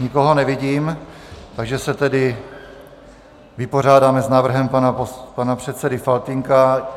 Nikoho nevidím, takže se tedy vypořádáme s návrhem pana předsedy Faltýnka.